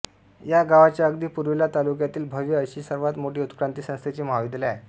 या गावाच्या अगदी पुर्वेला तालुक्यातील भव्य अशी सर्वात मोठे उत्क्रांती संस्थेचे महाविद्यालय आहे